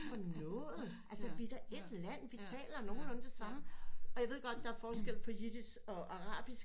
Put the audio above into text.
Hvad er det for noget altså vi er da et land vi taler nogenlunde det samme og jeg ved godt der er forskel på Yiddish og arabisk